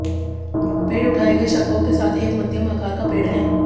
पेड़ उठाए गए शाखाओं के साथ एक मध्यम आकार का पेड़ है